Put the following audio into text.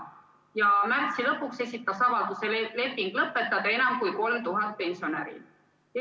Ja märtsi lõpuks esitas avalduse lepingu lõpetamiseks enam kui 3000 pensionäri.